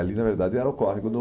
Ali, na verdade, era o córrego do...